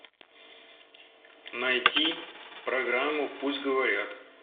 найти программу пусть говорят